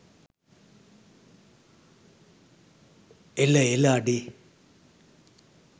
එල එල අඩේ